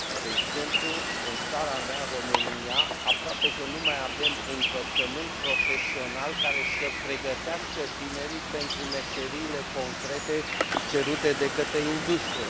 De exemplu, în țara mea, România, aproape că nu mai avem învățământ profesional care să pregătească tinerii pentru meseriile concrete cerute de către industrie.